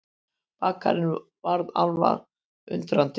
Bakarinn varð alveg undrandi.